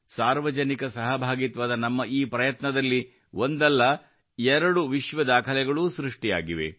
ಸಾರ್ವಜನಿಕ ಸಹಭಾಗಿತ್ವದ ನಮ್ಮ ಈ ಪ್ರಯತ್ನದಲ್ಲಿ ಒಂದಲ್ಲ ಎರಡು ವಿಶ್ವ ದಾಖಲೆಗಳೂ ಸೃಷ್ಟಿಯಾಗಿವೆ